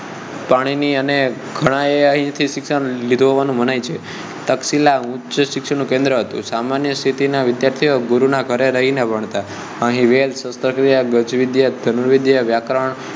પાણીની અને ઘણાં એ અહીં થી શિક્ષણ લીધું એવું મનાઈ છે તર્કશીલ ઉચ્ચશિક્ષણ નું કેન્દ્ર હતું સામાન્ય સ્થિતિ નાં વિદ્યાર્થીઓ ગુરુ નાં ઘરે રહી ને ભણતાં અને વેદ શસ્ત્રક્રિયા ગજવિદ્યા ધનુર્વિદ્યા વ્યાકરણ